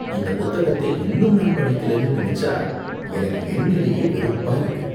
இந்த புத்தகத்தை இன்னும் நான் படிக்கலனு நெனச்சா எனக்கு என் மேலேயே வெறுப்பா இருக்கு.